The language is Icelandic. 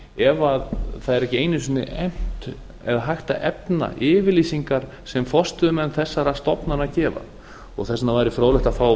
ef það er ekki einungis efnt eða hægt að efna yfirlýsingar sem forstöðumenn þessara stofnana gefa þess vegna væri fróðlegt að fá